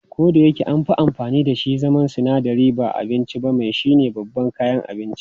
Kodayake anfi amfani dashi a zaman sinadari ba abinci ba, mai shine babban kayan abinci.